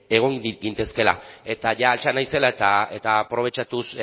egon gintezkeela eta jada altxa naizela eta aprobetxatuz